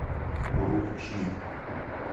урумчи